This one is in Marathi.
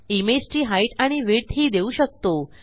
इमेज ची हाइट आणि विड्थ ही देऊ शकतो